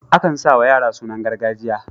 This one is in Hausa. Akan sa wa yara sunan gargajiya.